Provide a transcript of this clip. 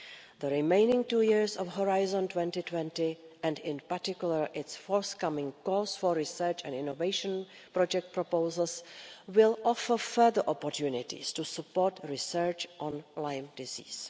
The remaining two years of Horizon 2020, and in particular its forthcoming calls for research and innovation project proposals, will offer further opportunities to support research on Lyme disease.